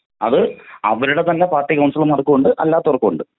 അത് അവരുടെ തന്നെ പാർട്ടി കൗൺസിലന്മാർക്കും ഉണ്ട് അല്ലാത്തവർക്കും ഉണ്ട്.